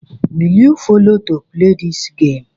Will you follow to play this game?